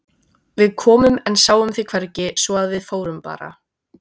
Við komum en sáum þig hvergi svo að við fórum bara.